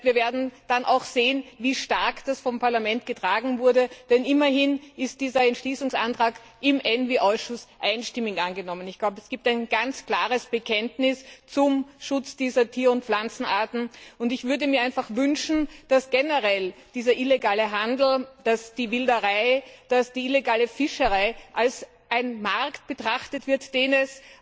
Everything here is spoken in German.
Das heißt, wir werden dann auch sehen, wie stark das vom Parlament getragen wurde, denn immerhin ist dieser Entschließungsantrag im ENVI Ausschuss einstimmig angenommen worden. Ich glaube, es gibt ein ganz klares Bekenntnis zum Schutz dieser Tier und Pflanzenarten, und ich würde mir einfach wünschen, dass dieser illegale Handel, dass die Wilderei, dass die illegale Fischerei generell als ein Markt betrachtet wird, den es